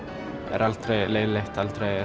er aldrei leiðinlegt